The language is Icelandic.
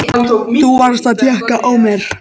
Þú varst að tékka á mér!